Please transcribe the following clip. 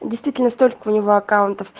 действительно столько у него аккаунтов